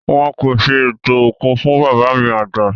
Wọn kò ṣe ètò òkú fún bàbá mi àgbà